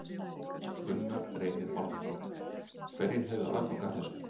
Gunnar Reynir Valþórsson: Hverjir hefðu aðgang að þessu?